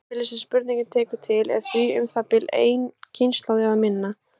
Tímabilið sem spurningin tekur til er því um það bil ein kynslóð eða minna.